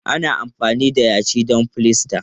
Ana iya amfani da yashi don filasta.